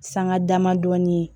Sanga dama dɔɔnin ye